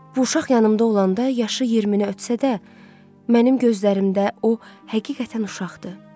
Bu uşaq yanımda olanda yaşı 20-ni ötsə də, mənim gözlərimdə o həqiqətən uşaqdır.